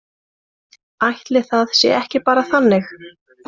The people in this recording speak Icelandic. Ætli það sé ekki bara þannig.